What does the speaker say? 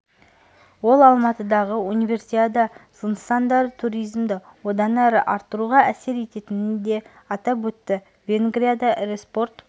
ол алматыдағы универсиада нысандары туризмді одан әрі арттыруға әсер ететінін де атап өтті венгрияда ірі спорт